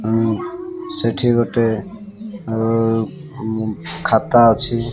ଆଉଁ ସେଠି ଗୋଟେ ଆଉ ଉଁ ଖାତା ଅଛି।